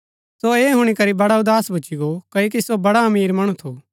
सो ऐह हूणी करी बड़ा उदास भूच्ची गो क्ओकि सो बड़ा अमीर मणु थू